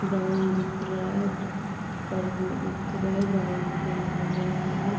Ground दिख रहा है पर ये इतना ही ग्राउंड बना हुआ है।